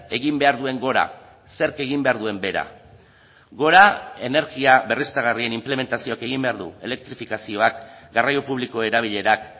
egin behar duen gora zerk egin behar duen bera gora energia berriztagarrien inplementazioak egin behar du elektrifikazioak garraio publiko erabilerak